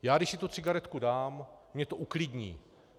Já, když si tu cigaretku dám, mě to uklidní.